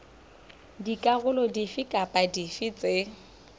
dikarolo dife kapa dife tse